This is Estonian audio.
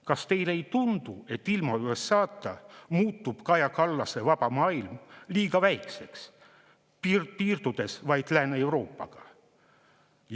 Kas teile ei tundu, et ilma USA‑ta muutub Kaja Kallase vaba maailm liiga väikseks, piirdudes vaid Lääne-Euroopaga?